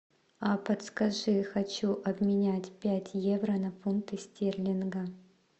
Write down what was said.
а подскажи хочу обменять пять евро на фунты стерлинга